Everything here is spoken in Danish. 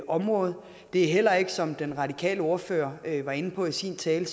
område det er heller ikke sådan som den radikale ordfører var inde på i sin tale